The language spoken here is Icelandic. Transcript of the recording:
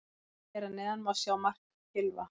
Hér að neðan má sjá mark Gylfa.